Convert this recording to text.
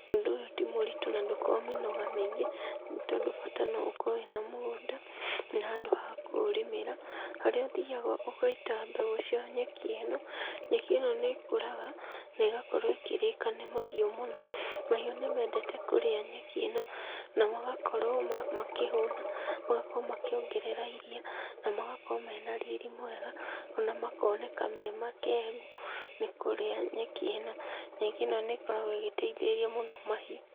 Ũndũ ũyũ ti mũritũ na ndũkoragwo mĩnoga mĩingĩ, nĩ tondũ bata no ũkorwo wĩna mũgũnda, na handũ ha kũ ũrĩmĩrĩra, harĩa ũthiaga ũgaita mbegũ cia nyeki ĩno. Nyeki ĩno nĩ ĩkũraga, na ĩgakorwo ĩkĩrĩka nĩ mahiũ mũno. Mahiũ nimendete kũrĩa nyeki ĩno na magakorwo makĩhũna, na magakorwo makĩongerera iria, na magakorwo mena riri mwega, ona makoneka me makengu nĩ kũrĩa nyeki ĩno. Nyeki ĩno nĩ ĩgĩkoragwo ĩgĩteithĩrĩria mũno mahiũ.